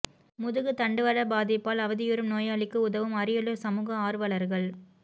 முதுகுத் தண்டுவட பாதிப்பால் அவதியுறும் நோயாளிக்கு உதவும் அரியலூர் சமூக ஆர்வலர்கள்